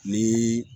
Ni